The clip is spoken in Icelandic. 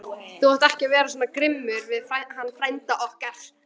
Þú átt ekki vera svona grimmur við hann frænda okkar!